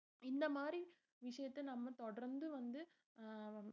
இந்த மாதிரி விஷயத்த நம்ம தொடர்ந்து வந்து அஹ்